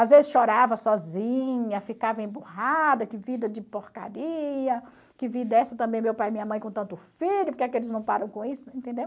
Às vezes chorava sozinha, ficava emburrada, que vida de porcaria, que vida essa também, meu pai e minha mãe com tanto filho, porque é que eles não param com isso, entendeu?